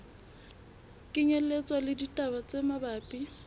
kenyelletswa le ditaba tse mabapi